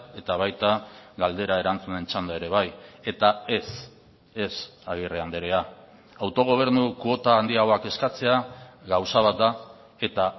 eta baita galdera erantzunen txanda ere bai eta ez ez agirre andrea autogobernu kuota handiagoak eskatzea gauza bat da eta